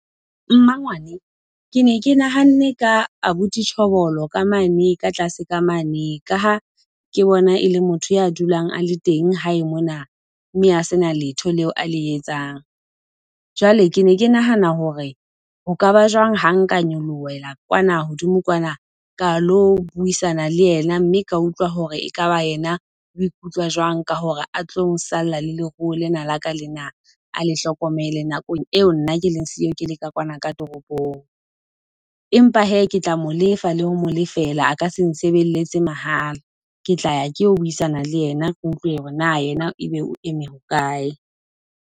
Mmangwane, ke ne ke nahanne ka abuti Tjhobolo ka mane ka tlase ka mane, ka ha ke bona e le motho ya dulang a le teng hae mona, mme a sena letho leo a le etsang. Jwale ke ne ke nahana hore ho ka ba jwang ha nka nyolohela kwana hodimo kwana ka lo buisana le yena, mme ka utlwa hore ekaba yena o ikutlwa jwang ka hore a tlo sala le leruo lena laka lena a le hlokomele nakong eo nna ke leng siyo, ke le ka kwana ka toropong. Empa hee ke tla mo lefa la ho mo lefela a ka se nsebeletse mahala. Ke tla ya ke yo buisana le yena, kutlwe hore na yena ebe o eme hokae.